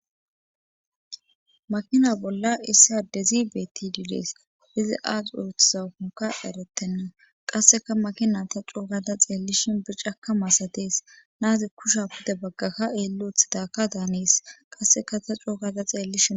makina bolla issi adezi beetti diilees izi aas uruthsaufonka eretenna qasseka makina ta coogata xeellishin bircakka maasatees naazi kusha pude baggakka eelloothidaakka daanees qasseka ta coogata xeelihi